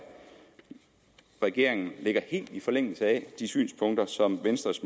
regeringen ligger helt i forlængelse af de synspunkter som venstres